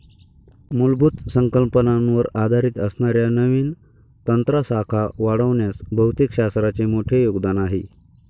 मुलभूत संकल्पनावर आधारित असणाऱ्या नवीन तंत्रासाखा वाढवण्यास भौतिकशास्त्राचे मोठे योगदान आहे.